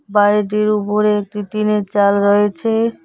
বাড়িটির উপরে একটি টিন -এর চাল রয়েছে।